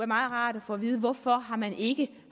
meget rart at få at vide hvorfor man ikke